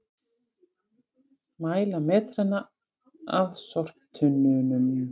Mæla metrana að sorptunnunum